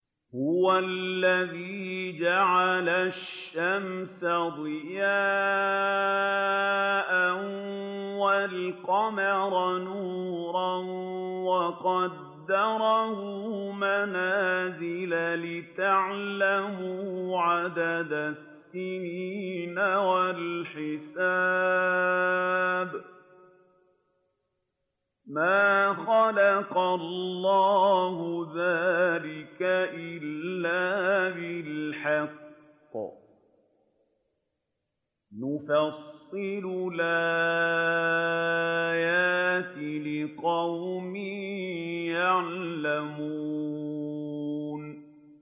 هُوَ الَّذِي جَعَلَ الشَّمْسَ ضِيَاءً وَالْقَمَرَ نُورًا وَقَدَّرَهُ مَنَازِلَ لِتَعْلَمُوا عَدَدَ السِّنِينَ وَالْحِسَابَ ۚ مَا خَلَقَ اللَّهُ ذَٰلِكَ إِلَّا بِالْحَقِّ ۚ يُفَصِّلُ الْآيَاتِ لِقَوْمٍ يَعْلَمُونَ